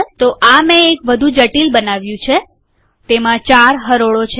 તો મેં એક વધુ જટીલ બનાવ્યું છેતેમાં ચાર હરોળો છે